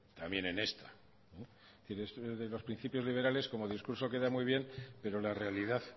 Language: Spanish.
también en esta pero es que lo de los principios liberales como discurso queda muy bien pero la realidad